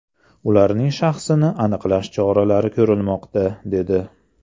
Ularning shaxsini aniqlash choralari ko‘rilmoqda”, dedi.